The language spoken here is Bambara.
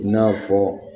I n'a fɔ